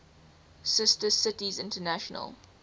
sister cities international